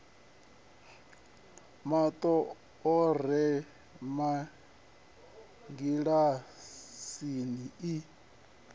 mato a re mangilasini i